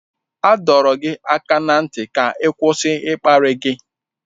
A dọrọ gị aka ná ntị ka ị kwụsị ịkparị gị.